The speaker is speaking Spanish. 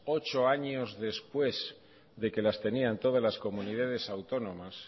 ocho años después de que las tenían todas las comunidades autónomas